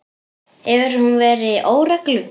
Hefur hún verið í óreglu?